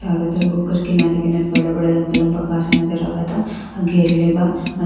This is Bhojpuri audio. चारो तरफ ओकर किनारे किनारे बड़ा बड़ा लम्बा लम्बा गाक्ष नज़र आवता गिरले बा ।